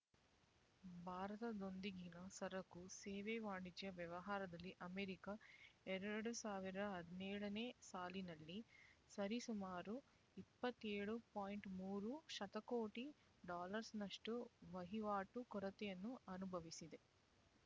ಭಾರತದೊಂದಿಗಿನ ಸರಕು ಸೇವೆ ವಾಣಿಜ್ಯ ವ್ಯವಹಾರದಲ್ಲಿ ಅಮೇರಿಕ ಎರಡು ಸಾವಿರ ಹದಿನೇಳನೇ ಸಾಲಿನಲ್ಲಿ ಸರಿಸುಮಾರು ಇಪ್ಪತ್ತೇಳು ಪಾಯಿಂಟ್ ಮೂರು ಶತಕೋಟಿ ಡಾಲರ್ಸ್ನಷ್ಟು ವಹಿವಾಟು ಕೊರತೆಯನ್ನು ಅನುಭವಿಸಿದೆ